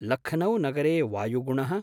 लख्नौ नगरे वायुगुणः।